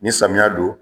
Ni samiya don